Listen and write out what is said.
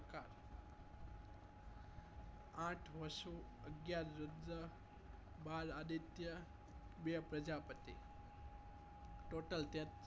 આંઠ વાશુ અગિયાર બાર આદિત્યા બે પ્રજાપતિ total તેત્રી